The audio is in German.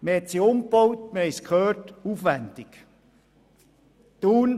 Wie wir gehört haben, hat man sie aufwendig umgebaut.